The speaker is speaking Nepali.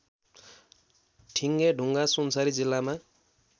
ठिङ्गेढुङ्गा सुनसरी जिल्लामा